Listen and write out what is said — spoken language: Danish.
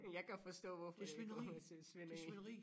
Jeg kan forstå hvorfor det nogen der synes svineri